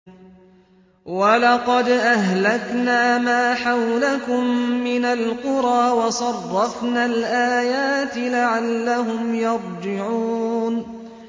وَلَقَدْ أَهْلَكْنَا مَا حَوْلَكُم مِّنَ الْقُرَىٰ وَصَرَّفْنَا الْآيَاتِ لَعَلَّهُمْ يَرْجِعُونَ